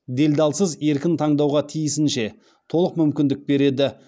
делдалсыз еркін таңдауға тиісінше толық мүмкіндік береді